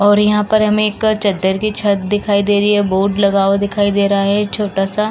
और यहाँ पर हमें एक चद्दर की छत दिखाई दे रहे हैं बोर्ड दिखाई दे रहा है छोटा सा --